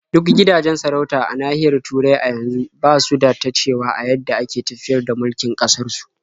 Duk gidajen sarauta a nahiyar Turai a yanzu ba su da ta cewa a yadda ake tafiyar da mulkin ƙasarsu.